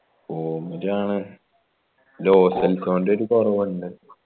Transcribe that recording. form ലാണ് ജോസ്‌ൽക്കൊൻ്റെ ഒരു കുറവിണ്ട്